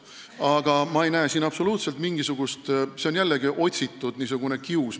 Aga ma ei näe siin absoluutselt mitte mingit küsimust, see on jällegi niisugune otsitud kius.